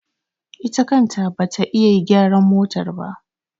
Ita kanta ba ita ta yi gyaran motar ba.